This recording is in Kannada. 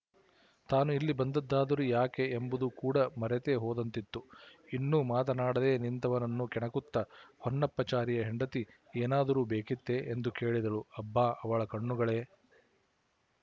ತಾನು ಇಲ್ಲಿ ಬಂದದ್ದಾದರೂ ಯಾಕೆ ಎಂಬುದು ಕೂಡ ಮರೆತೇ ಹೋದಂತಿತ್ತು ಇನ್ನೂ ಮಾತನಾಡದೇ ನಿಂತವನನ್ನು ಕೆಣಕುತ್ತ ಹೊನ್ನಪ್ಪಾಚಾರಿಯ ಹೆಂಡತಿ ಏನಾದರೂ ಬೇಕಿತ್ತೇ ಎಂದು ಕೇಳಿದಳು ಅಬ್ಬಾ ಅವಳ ಕಣ್ಣುಗಳೆ